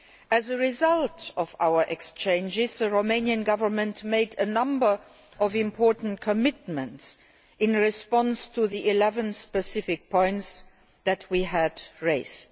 As a result of our exchanges, the Romanian Government made a number of important commitments in response to the eleven specific points that we had raised.